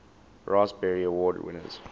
raspberry award winners